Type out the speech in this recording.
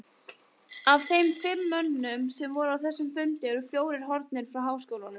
Af þeim fimm mönnum, sem voru á þessum fundi, eru fjórir horfnir frá háskólanum.